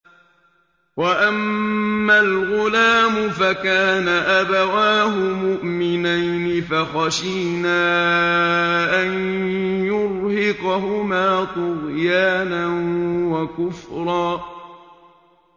وَأَمَّا الْغُلَامُ فَكَانَ أَبَوَاهُ مُؤْمِنَيْنِ فَخَشِينَا أَن يُرْهِقَهُمَا طُغْيَانًا وَكُفْرًا